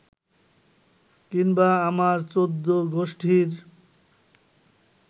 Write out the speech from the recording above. কিংবা আমার চৌদ্দগুষ্টির